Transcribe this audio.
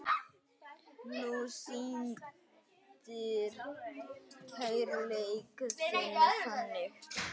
Þú sýndir kærleik þinn þannig.